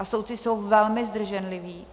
A soudci jsou velmi zdrženliví.